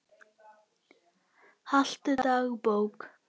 Haltu dagbók.